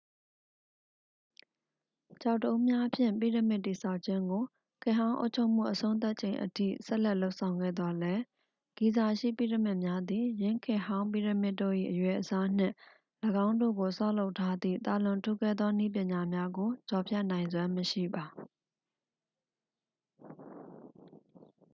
ကျောက်တုံးများဖြင့် ပိရမစ်တည်ဆောက်ခြင်းကို ခေတ်ဟောင်းအုပ်ချုပ်မှုအဆုံးသတ်ချိန်အထိ ဆက်လက်လုပ်ဆောင်ခဲ့သော်လည်း ဂီဇာရှိပိရမစ်များသည် ယင်းခေတ်ဟောင်းပိရမစ်တို့၏ အရွယ်အစားနှင့် ၎င်းတို့ကိုဆောက်လုပ်ထားသည့် သာလွန်ထူးကဲသောနည်းပညာများကို ကျော်ဖြတ်နိုင်စွမ်းမရှိပါ